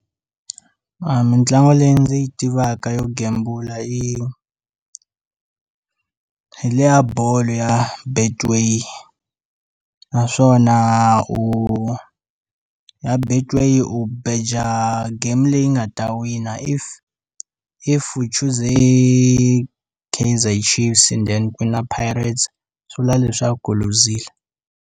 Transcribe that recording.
Mintlangu leyi ndzi yi tivaka yo gembula hi hi le ya bolo ya betway naswona u ya betway u bheja game leyi nga ta wina if if u chuze Kaizer Chiefs enden ku wina Pirates swivula ku u luzile.